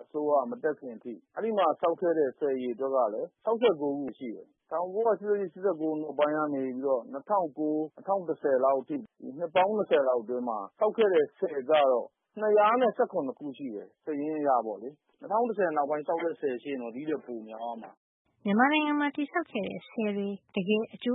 အစိုးရ မတက်ခင်အထိ ဆောက်ခဲ့တဲ့ ဆည်အရေအတွက်ကလည်း ၆၉ ခုပဲ။ ၁၉၈၈- ၈၉ ခုနှစ် ကနေ ၂၀၀၉- ၂၀၁၀ အထိ ဒီ နှစ်ပေါင်း ၂၀ လောက် အတွင်းမှာ ဆောက်ခဲ့တဲ့ ဆည်ကျတော့ ၂၁၇ ခုရှိတယ်။ စာရင်းအရပေါ့လေ။ ၂၀၁၀ နောက်ပိုင်း ဆောက်တဲ့ ဆည်ရှိရင် ဒီ့ထက်ပိုများမှာ။” “၁၉၆၂ ကနေ ၈၈ အထိမှာ ဆောက်တဲ့ဆည်က ၆၉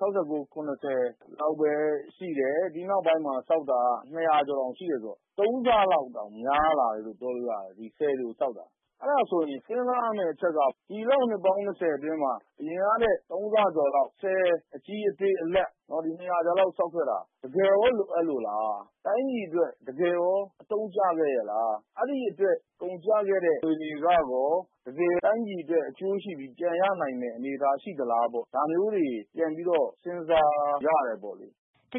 ခု ပဲရှိတယ်၊ ဒီ့နောက်ပိုင်းမှာ ဆောက်တာက ၂၀၀ ကျော်တောင် ရှိတယ်ဆိုတော့ ၃ ဆ လောက်တောင် များလာတယ်လို့ ပြောလို့ရတယ်။ ဒီဆည်တွေကို ဆောက်တာ။ အဲ့ဒါဆိုရင် စဉ်းစားရမယ့် အချက်က ဒီလောက် နှစ်ပေါင်း ၂၀ အတွင်းမှာ အရင်ကထက် ၃ ဆကျော်လောက် ဆည်အကြီး၊ အသေး၊ အလတ် ၂၀၀ ကျော်လောက် ဆောက်ခဲ့တာ၊ တကယ်ရော လိုအပ်လို့လား။ တိုင်းပြည်အတွက် တကယ်ရော အသုံးကျခဲ့ရဲ့လား၊ အဲဒီအတွက် ကုန်ကျခဲ့တဲ့ ငွေတွေကရော တိုင်းပြည်အတွက် တကယ်အကျိုးရှိပြီး ပြန်ရနိုင်တဲ့ အနေထား ရှိသလား။ ဒါမျိုးတွေ ပြန်ပြီးတော့ စဉ်းစားရမယ်ပေါ့လေ။” “အ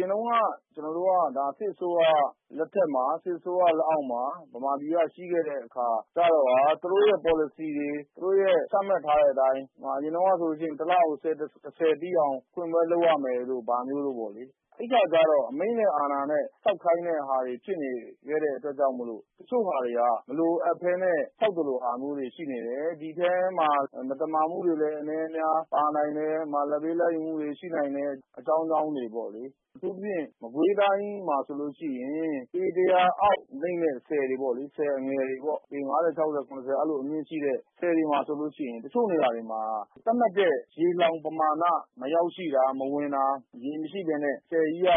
ရင်တုန်းက ကျွန်တော်တို့က စစ်အစိုးရ လက်အောက်မှာ ရှိခဲ့တဲ့ အခါကျတော့ သူတို့ရဲ့ ပေါ်လစီတွေ၊ သူတို့ သတ်မှတ်ထားတဲ့ အတိုင်း - အရင်တုန်းကဆို တလကို ဆည်တဆည် ပြီးအောင် ဖွင့်ပွဲ လုပ်ရမယ်ဘာညာ ပေါ့လေ။ အဲဒီအခါ အမိန့်နဲ့ အာဏာနဲ့ ဆောက်ခိုင်းတဲ့ ဟာတွေ ဖြစ်နေတဲ့ အတွက် ကြောင့် တချို့ဟာတွေက မလိုအပ်ပဲနဲ့ ဆောက်သလိုဟာမျိုးတွေ ရှိနေတယ်။ ဒီအထဲမှာ မသမာမှုတွေလည်း အနဲအများ ပါနိုင်တယ်။ လဒ်ပေး လဒ်ယူမှုတွေ ရှိနိုင်တယ်။ အကြောင်းကြောင်း တွေ ပေါ့လေ။ အထူးသဖြင့် မကွေးတိုင်း မှာဆိုရင် ပေတရာအောက် နိမ့်တဲ့ ဆည်တွေ၊ ဆည်အငယ်တွေပေါ့။ ပေ ၅၀ - ၆၀ - ၇၉ အဲဒီလို အမြင့်ရှိတဲ့ ဆည်တွေမှာဆို တချို့နေရာတွေမှာ သတ်မှတ်တဲ့ ရေလှောင်ပမာဏ မရောက်ရှိတာ၊ မဝင်တာ၊ ရေမရှိပဲနဲ့ ဆည်ကြီးက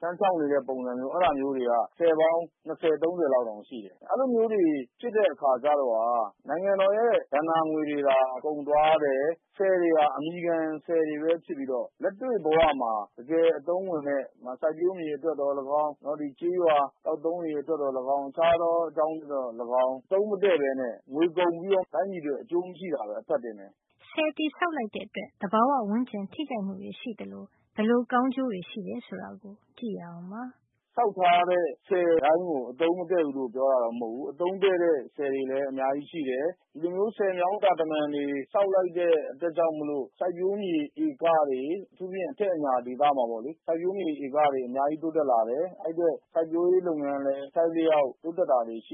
ခန်းခြောက်နေတဲ့ ပုံစံမျိုး၊ အဲဒီလိုမျိုး ဖြစ်နေတာက ဆည်ပေါင်း ၂၀ - ၃၀ လောက်တောင် ရှိနေတယ်။ အဲဒီလိုမျိုးတွေ ဖြစ်တဲ့အခါကျတော့ နိုင်ငံတော်ရဲ့ ဘဏ္ဍာငွေ တွေသာကုန်သွားတယ်၊ ဆည်တွေဟာ အမည်ခံဆည်တွေပဲ ဖြစ်ပြီးတော့ လက်တွေ့ ဘဝမှာ တကယ်အသုံးဝင်မယ့်၊ ဥပမာ စိုက်ပျိုးမြေအတွက် သော်လည်းကောင်း၊ ကျေးရွာ သောက်သုံးရေ အတွက် သော်လည်းကောင်း၊ တခြားသော အကြောင်းတွေ ကြောင့် သော်လည်းကောင်း အသုံးမတဲ့ပဲနဲ့ တိုင်းပြည်အတွက် ငွေကုန်ပြီးတော့ အကျိုးမရှိတာပဲ အဖတ် တင်တယ်။” “ဆောက်ထားတဲ့ ဆည်တိုင်းကို အသုံးမတဲ့ဘူးလို့ ပြောတာတော့မဟုတ်ဖူး။ အသုံးတဲ့တဲ့ ဆည်တွေလည်း အများကြီး ရှိတယ်။ ဆည်မြောင်းတာတမံတွေ ဆောက်လိုက်တဲ့ အတွက်ကြောင့် စိုက်ပျိုးမြေတွေ အထူးသဖြင့် အထက်အညာဒေသမှာ ပေါ့လေ၊ စိုက်ပျိုးမြေဧကတွေ အများကြီး တိုးတက်လာတယ်။ စိုက်ပျိုးရေး လုပ်ငန်းလည်း အထိုက်အလျှောက် တိုးတက်လာတယ်။” “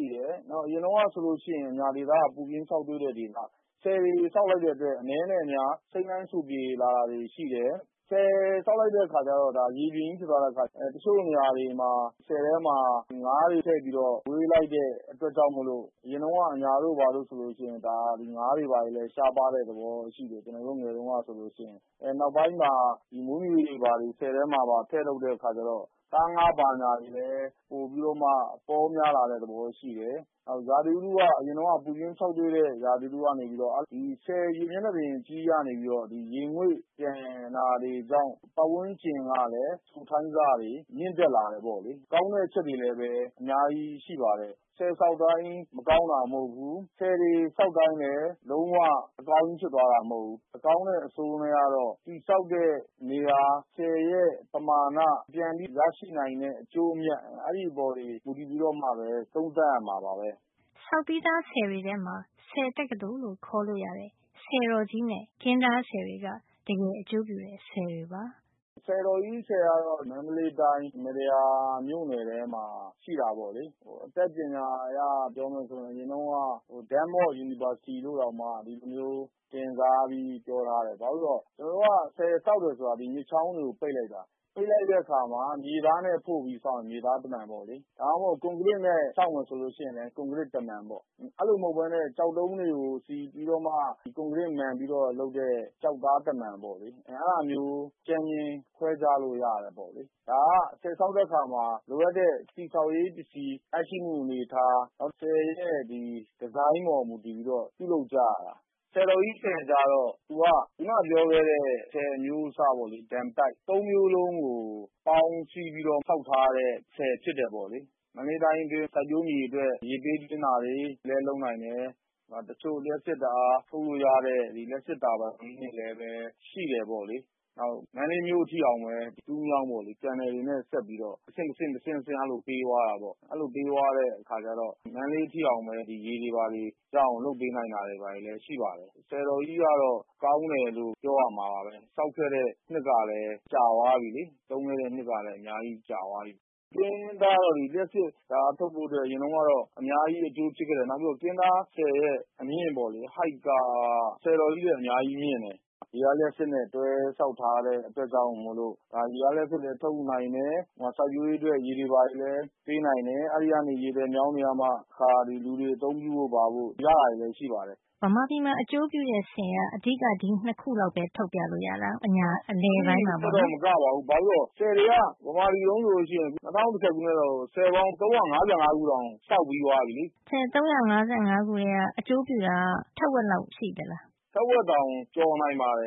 နောက် အရင်တုန်းက ဆိုလို့ရှိရင် အညာဒေသက ပူပြင်းခြောက်သွေ့တဲ့ ဒေသ။ ဆည်တွေ ဆောက်လိုက်တဲ့ အတွက် အနဲနဲ့ အများ စိမ်းလန်းစိုပြေလာတာတွေ ရှိတယ်။ ဆည်ဆောက်လိုက်တဲ့ အခါကျတော့ ရေပြင်ကြီးဖြစ်သွားတဲ့ အခါကျတော့၊ တချို့နေရာတွေမှာ ဆည်ထဲမှာ ငါးတွေ ထည့်မွေးလိုက်တဲ့ အတွက် အရင်တုန်းက အညာဒေသဟာ ငါးတွေလည်း ရှားပါးတဲ့ သဘောရှိတယ်။ အရင်တုန်းက ဆိုလို့ရှိရင်။ အခု မွေးမြူရေးပါ ထည့်လုပ်တာကြောင့် သားငါး ဘာညာ ပိုပြီးတော့ ပေါများလာတဲ့ သဘောရှိတယ်။” “နောက် ရာသီဥတုက အရင်တုန်းက ပူပြင်းခြောက်သွေ့တဲ့ ရာသီဥတုကနေပြီးတော့ ဆည်ရေမျက်နှာပြင် အကြီးကြီးကနေ ရေငွေ့ပျံတာတွေကြောင့် ပတ်ဝန်းကျင်ကလည်း စိုထိုင်းဆတွေ မြင့်တက်လာတယ်။ ဒီလို ကောင်းတဲ့ အချက်တွေလည်း အများကြီး ရှိပါတယ်။ ဆည်ဆောက်တိုင်း မကောင်းတာ မဟုတ်ဖူး၊ ဆည်တွေဆောက်တိုင်းလည်း လုံးဝအကောင်းကြီးဖြစ်သွားတာ မဟုတ်ဖူး။ အကောင်းနဲ့ အဆိုးကတော့ ဆောက်တဲ့နေရာ၊ ဆည်ရဲ့ပမာဏ၊ ပြန်ပြီး ရရှိနိုင်တဲ့ အကျိုးအမြတ် အဲဒါတွေ အပေါ် မူတည်ပြီးမှပဲ သုံးသပ်ရမှာပါပဲ။” “ဆည်တော်ကြီး ဆည်တွေက မန္တလေးတိုင်း၊ မတ္တရာမြို့နယ်ထဲမှာရှိပါတယ်။ အတတ်ပညာပိုင်းအရ ပြောမယ်ဆိုရင် အရင်တုန်းက Dam of University လို့တောင် တင်စားပြီးပြောထားတယ်။ ဘာဖြစ်လို့လည်းဆိုတော့ ကျွန်တော်တို့က ဆည်ဆောက်တယ် ဆိုတာ မြစ်ချောင်းတွေကို ပိတ်လိုက်တာ၊ အဲဒီလို ပိတ်တဲ့အခါမှာ မြေသားနဲ့ဖို့ရင် မြေသားတမံပေါ့။ ဒါမှမဟုတ် ကွန်ကရစ်နဲ့ ဆောက်မယ်ဆိုရင် ကွန်ကရစ်တမံပေါ့။ အဲဒီလို မဟုတ်ပဲနဲ့ ကျောက်တုံးတွေကို စီပြီး ကွန်ကရစ်မံပြီး ဆောက်တဲ့ ကျောက်သားတမံပေါ့။ အဲဒါမျိုး အကြမ်းဖျင်းခွဲခြားလို့ ရတယ်။ ဒါက ဆည်ဆောက်တဲ့ အခါမှာ လိုအပ်တဲ့ တည်ဆောက်ရေးပစ္စည်း၊ နောက်ဆည်တွေရဲ့ ဒီဇိုင်းအပေါ်မူတည်ပြီးတော့ ပြုလုပ်ကြရတာ။” “ဆည်တော်ကြီးကျတော့ သူက ခုနပြောခဲ့တဲ့ ဆည်အမျိုးအစားပေါ့ dam site အဲဒီ အမျိုးအစား ၃ မျိုးစလုံးကို ပေါင်းစည်းပြီးတော့ ဆောက်ထားတဲ့ ဆည်ဖြစ်တယ်ပေါ့။ မန္တလေးတိုင်းအတွင်း စိုက်ပျိုးမြေတွေအတွက် ရေပေးသွင်းတာတွေလည်း လုပ်နိုင်တယ်။ နောက် တချို့ လျှပ်စစ်ဓါတ်အား ထုတ်လို့ရတဲ့ လျှပ်စစ် တာဘိုင်တွေ လည်းရှိတယ်။ ဒါ့အပြင် မန္တလေးမြို့အထိအောင် တူးမြောင်း channel တွေနဲ့ ဆက်ပြီးတော့ တဆင့်တဆင့် အဲဒီလို ပေးသွားတာပေါ့။ မန္တလေးအထိ ရေရအောင် လုပ်ပေးတာလည်း ရှိပါတယ်။ ဆည်တော်ကြီးက ကောင်းတယ်လို့ ပြောရမှာပါ။ ဆောက်ခဲ့တဲ့ နှစ်ကလည်း ကြာသွားပါပြီ။ သုံးခဲ့တဲ့ နှစ်က အများကြီး ကြာပါပြီ။” “ကင်းတားဆည်ကတော့ လျှပ်စစ် ဓါတ်အား ထုတ်ဖို့ အတွက် အရင်တုန်းကတော့ အရမ်း အကျိုး ဖြစ်ခဲ့တယ်။ နောက်ပြီးတော့ ကင်းတားဆည်ရဲ့ အမြင့်က ဆည်တော်ကြီးထက် အများကြီး မြင့်တယ်။ ရေအား လျှပ်စစ်နဲ့ တွဲဆောက်ထားတဲ့ အတွက်ကြောင့် ရေအားလျှပ်စစ်လည်း ထုတ်ယူနိုင်တယ်၊ စိုက်ပျိုးရေးအတွက်လည်း ရေပေးနိုင်တယ်။ အဲဒီကနေ လာတဲ့ ရေသွယ်မြောင်းတွေကမှ တခါ လူတွေ အသုံးပြုဖို့ ရတာတွေလည်း ရှိပါတယ်။” “အဲဒီထက်တော့ မကပါဘူး။ ဘာလို့လဲ ဆိုတော့ ဆည်တွေက မြန်မာတပြည်လုံး ဆိုရင် ၂၀၁၀ ခုနှစ်လောက်ဆို ဆည်ပေါင်း ၃၅၅ ခုတောင် ဆောက်ပြီးသွားပြီလေ။” “ထက်ဝက်တောင် ကျော်နိုင်ပါတယ